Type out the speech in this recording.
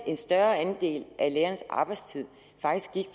en større andel af lærernes arbejdstid faktisk gik